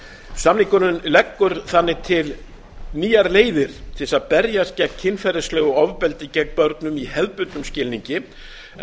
samningurinn leggur þannig til nýjar leiðir til að berjast gegn kynferðislegu ofbeldi gegn börnum í hefðbundnum skilningi en